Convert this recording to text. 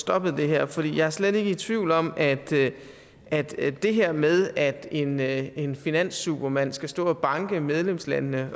stoppet det her for jeg er slet ikke i tvivl om at at det det her med at en at en finanssupermand skal stå og banke medlemslandene